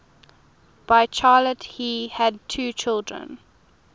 by charlotte he had two children